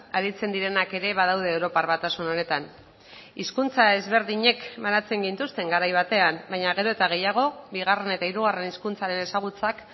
aritzen direnak ere badaude europar batasun honetan hizkuntza ezberdinek banatzen gintuzten garai batean baina gero eta gehiago bigarren eta hirugarren hizkuntzaren ezagutzak